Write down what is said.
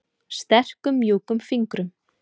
Sterkum mjúkum fingrum.